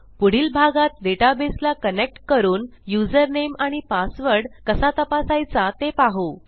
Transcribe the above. पुढील भागात डेटाबेसला कनेक्ट करून यूझर नामे आणि पासवर्ड कसा तपासायचा ते पाहू